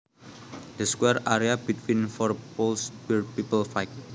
The square area between four poles where people fight